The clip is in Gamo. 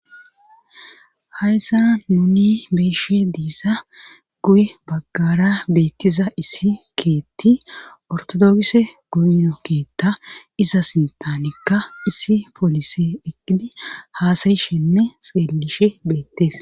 hayssana nuni beeshe diisa guye baggara beettiza issi keetti ortodogise goyno keetta iza sintanikka issi polise eqqidi haasayishenne xeellishe beettes